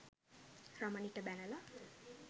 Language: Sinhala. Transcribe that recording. රමණිට බැනලා.